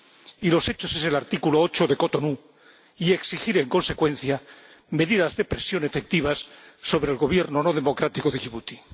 Y los hechos son el artículo 8 del Acuerdo de Cotonú y exigir en consecuencia medidas de presión efectivas sobre el Gobierno no democrático de Yibuti.